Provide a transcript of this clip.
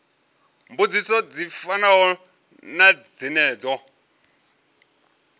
mbudziso dzi fanaho na dzenedzo